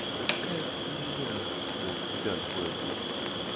такая хуйня вон тебя двое блять